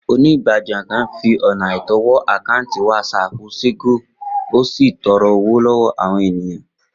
Onígbájúẹ̀ kan fi ọ̀nà àìtọ́ wọ àkáǹtì WhatsApp Ṣògo ó sì ń tọrọ owó lọ́wọ́ àwọn ènìyàn